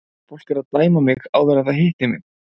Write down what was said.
Fólk er að dæma mig áður en það hittir mig.